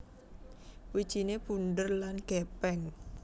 Wijiné bunder lan gèpèng